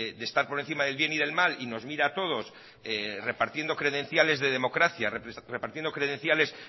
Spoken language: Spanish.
de estar por encima del bien y del mal y nos mira a todos repartiendo credenciales de democracia repartiendo credenciales